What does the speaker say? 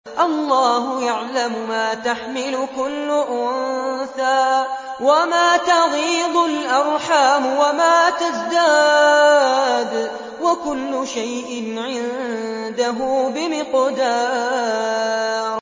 اللَّهُ يَعْلَمُ مَا تَحْمِلُ كُلُّ أُنثَىٰ وَمَا تَغِيضُ الْأَرْحَامُ وَمَا تَزْدَادُ ۖ وَكُلُّ شَيْءٍ عِندَهُ بِمِقْدَارٍ